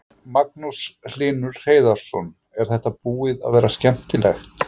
Magnús Hlynur Hreiðarsson: Er þetta búið að vera skemmtilegt?